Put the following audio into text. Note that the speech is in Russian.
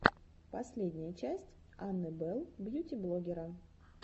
последняя часть анны белл бьюти блоггера